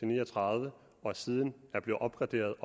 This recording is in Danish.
ni og tredive og siden er blevet opgraderet